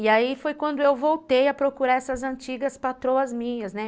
E aí foi quando eu voltei a procurar essas antigas patroas minhas, né?